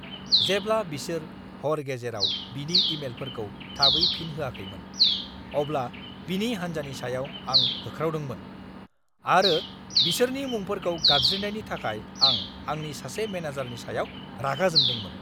जेब्ला बिसोर हर गेजेराव बिनि इमेलफोरखौ थाबै फिन होआखैमोन, अब्ला बिनि हान्जानि सायाव आं होख्रावदोंमोन आरो बिसोरनि मुंफोरखौ गाबज्रिनायनि थाखाय आं आंनि सासे मेनेजारनि सायाव रागा जोंदोंमोन!